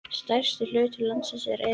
Stærsti hluti landsins er eyðimörk.